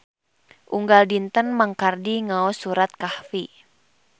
Unggal dinten Mang Kardi ngaos surat Kahfi